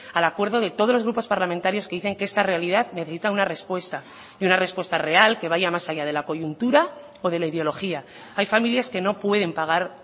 al acuerdo de todos los grupos parlamentarios que dicen que esta realidad necesita una respuesta y una respuesta real que vaya más allá de la coyuntura o de la ideología hay familias que no pueden pagar